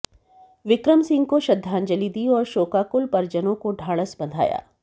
विक्रम सिंह को श्रद्धांजलि दी और शोकाकुल परिजनों को ढाढस बंधाया